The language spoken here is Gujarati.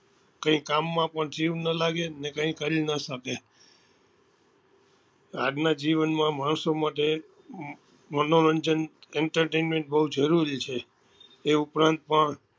કઈ કામ માં પણ જીવ નાં લાગે ને કઈ કરી નાં સકે આજ નાં જીવન માં માણસો માટે મનોરંજન entertainment બઉ જરૂરી છે એ ઉપરાંત પણ